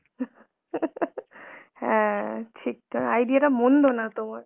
হ্যাঁ ঠিক তাই idea টা মন্দ না তোমার.